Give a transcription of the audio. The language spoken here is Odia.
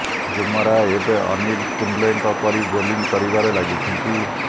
ବୁମରା ଏବେ ଅନିଲ କୁମ୍ବଲେଙ୍କ ପରି ବୋଲିଂ କରିବାରେ ଲାଗିଛନ୍ତି